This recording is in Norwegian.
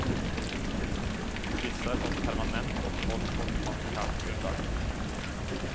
Disse har fått permanent opphold på humanitært grunnlag.